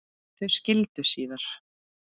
Þau skildu síðar.